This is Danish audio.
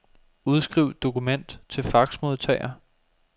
Udskriv dokument til faxmodtager.